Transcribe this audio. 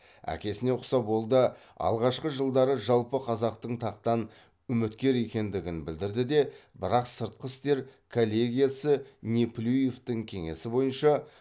әкесіне ұқсап ол да алғашқы жылдары жалпықазақтық тақтан үміткер екендігін білдірді де бірақ сыртқы істер коллегиясы неплюевтің кеңесі бойынша